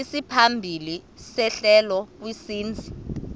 isimaphambili sehlelo kwisininzi